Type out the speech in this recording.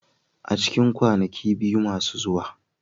A cikin kwanaki biyu masu zuwa.